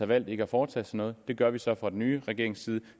valgt ikke at foretage sig noget det gør vi så fra den nye regerings side